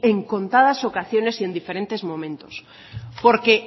en contadas ocasiones y en diferentes momentos porque